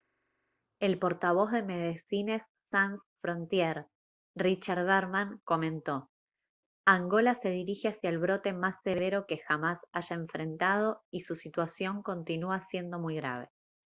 el portavoz de medecines sans frontiere richard veerman comentó: «angola se dirige hacia el brote más severo que jamás haya enfrentado y su situación continúa siendo muy grave»